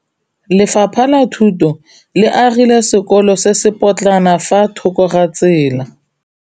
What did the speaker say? Lefapha la Thuto le agile sekôlô se se pôtlana fa thoko ga tsela.